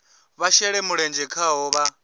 vha shele mulenzhe khaho vha